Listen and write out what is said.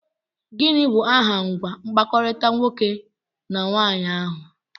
Gịnị bụ aha ngwa mkpakọrịta nwoke na nwaanyị ahụ?